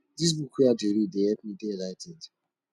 dis book wey i dey read dey help me dey enligh ten ed